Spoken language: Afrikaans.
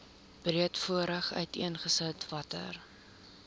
breedvoerig uiteengesit watter